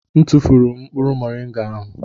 M tụfụrụ mkpụrụ moringa ahụ.